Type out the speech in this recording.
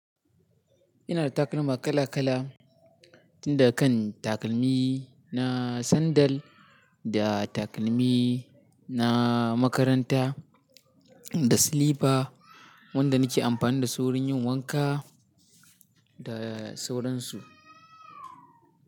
Ina da takalma kala kala, tun daga kan takalmi na sandal, da takalmi na makaranta, da silifa wanda nake amfani da su wurin yin wanka da sauransu.